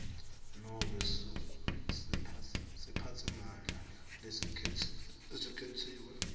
nobe siphatsimandla lesikhetsiwe